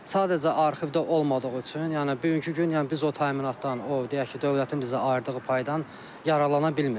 Sadəcə arxivdə olmadığı üçün, yəni bugünkü gün yəni biz o təminatdan, o deyək ki, dövlətin bizə ayırdığı paydan yararlana bilmirik.